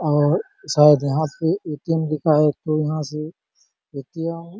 और शायद यहाँ पे एटीएम लिखा है फिर यहाँ से एटीएम --